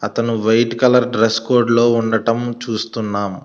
అతను white colour dress code లో ఉండటం చూస్తున్నాం.